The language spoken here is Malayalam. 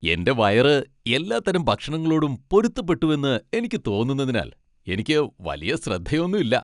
എന്റെ വയറ് എല്ലാത്തരം ഭക്ഷണങ്ങളോടും പൊരുത്തപ്പെട്ടുവെന്ന് എനിക്ക് തോന്നുന്നതിനാൽ എനിക്ക് വലിയ ശ്രദ്ധ ഒന്നൂല്ല.